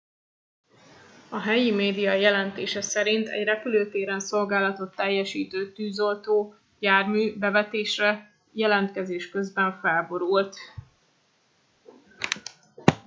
a helyi média jelentése szerint egy repülőtéren szolgálatot teljesítő tűzoltó jármű bevetésre jelentkezés közben felborult